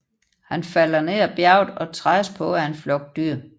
Han falder ned ad bjerget og trædes på af en flok dyr